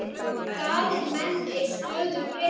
Staðir menn ei stöðu breyta.